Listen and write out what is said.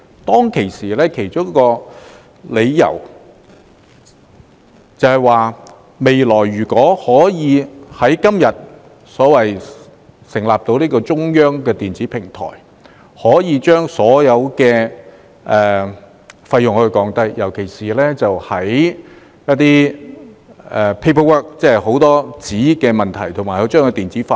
當時的其中一個理由是，未來如果可以成立今天所說的中央電子平台，便能夠降低所有費用，尤其是減少紙張費用。